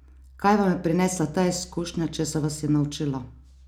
Kaj vam je prinesla ta izkušnja, česa vas je naučila?